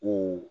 O